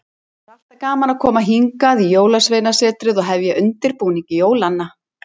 Það er alltaf gaman að koma hingað í Jólasveinasetrið og hefja undirbúning jólanna.